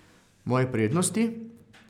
Moje prednosti?